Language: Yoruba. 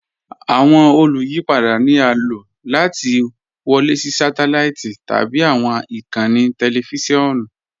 Awọn olùyìpada ni a ló láti wọlé sí sátẹláìtì tabi awọn ikànńí tẹlifisiọnu.